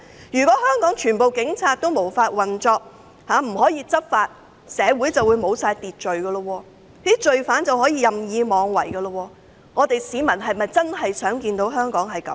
如果全部警察無法運作，不能執法，社會便沒有秩序，罪犯可以任意妄為，市民是否真的想看到這種情況？